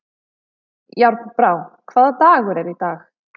Járnbrá, hvaða dagur er í dag?